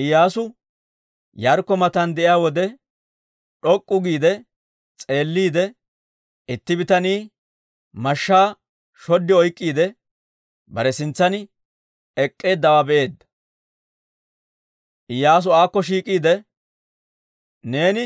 Iyyaasu Yaarikko matan de'iyaa wode, d'ok'k'u giide s'eelliide, itti bitanii mashshaa shod oyk'k'iide, bare sintsan ek'k'eeddawaa be'eedda. Iyyaasu aakko shiik'iide, «Neeni